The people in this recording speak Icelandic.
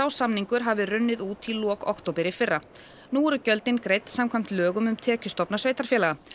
samningur hafi runnið út í lok október í fyrra nú eru gjöldin greidd samkvæmt lögum um tekjustofna sveitarfélaga